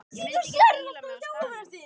Ég mundi ekki fíla mig á staðnum.